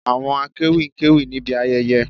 Àwọn akéwì ń kéwì níbi ayẹyẹ